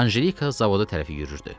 Anjelika zavoda tərəf yüriyirdi.